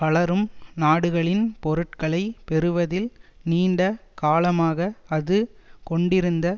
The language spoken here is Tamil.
வளரும் நாடுகளின் பொருட்களை பெறுவதில் நீண்ட காலமாக அது கொண்டிருந்த